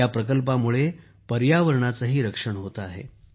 ह्या प्रकल्पामुळे पर्यावरणाचेही रक्षण होते आहे